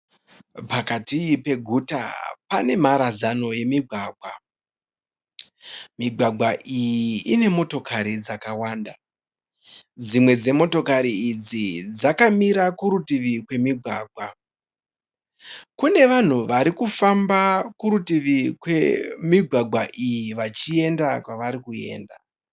Pakati peguta pane mharadzano yemigwagwa. Migwagwa iyi ine motokari dzakawanda. Dzimwe dzemotokari idzi dzakamira kurutivi kwemigwagwa. Kune vanhu varikufamba kurutivi kwemigwagwa iyi vachienda kwavarikuenda.